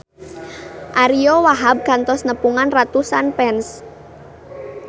Ariyo Wahab kantos nepungan ratusan fans